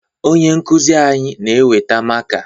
Onye nkụzi anyị na-eweta maka